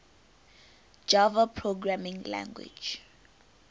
java programming language